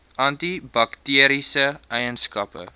anti bakteriese eienskappe